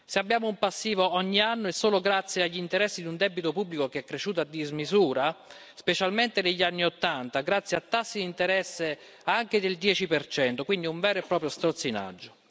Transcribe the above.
Se abbiamo un passivo ogni anno è solo grazie agli interessi di un debito pubblico che è cresciuto a dismisura, specialmente negli anni Ottanta grazie a tassi di interesse anche del 10 quindi un vero e proprio strozzinaggio.